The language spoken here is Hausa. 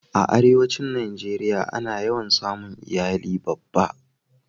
a arewacin najeriya a na yawan samun iyali babba